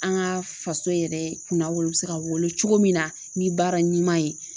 An ka faso yɛrɛ kun na wolo bɛ se ka wolo cogo min na ni baara ɲuman ye